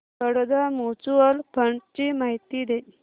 Baroda mutual fund ची माहिती दे